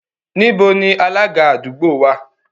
Níbo ni Alága àdúgbò wà?